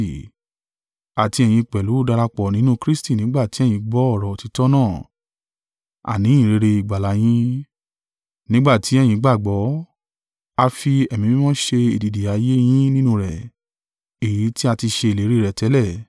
Àti ẹ̀yin pẹ̀lú darapọ̀ nínú Kristi nígbà tí ẹ̀yin gbọ́ ọ̀rọ̀ òtítọ́ náà àní ìyìnrere ìgbàlà yin. Nígbà tí ẹ̀yin gbàgbọ́, a fi Ẹ̀mí Mímọ́ ṣe èdìdì ayé yin nínú rẹ, èyí tí a ti ṣe ìlérí rẹ̀ tẹ́lẹ̀,